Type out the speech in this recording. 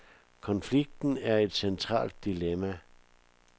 Konflikten er et centralt dilemma.